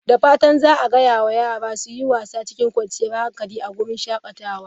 Da fatan za a gaya wa yara su yi wasa cikin kwanciyar hankali a wurin shakatawa.